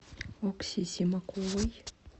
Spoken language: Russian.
окси симаковой